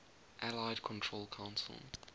allied control council